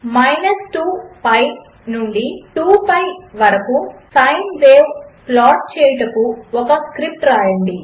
minus two pi నుండి two pi వరకు sine wave plot చేయుటకు ఒక స్క్రిప్ట్ వ్రాయండి